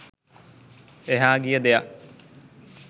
එහා ගිය දෙයක්